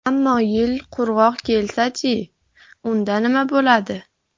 Ammo yil qurg‘oq kelsa-chi, unda nima bo‘ladi?